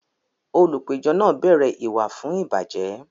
Olùpẹ̀jọ́ náà bẹ̀rẹ̀ ìwà fún ìbàjẹ́